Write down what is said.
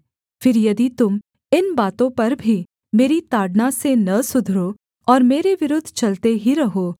फिर यदि तुम इन बातों पर भी मेरी ताड़ना से न सुधरो और मेरे विरुद्ध चलते ही रहो